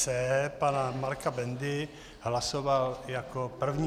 C pana Marka Bendy hlasoval jako první.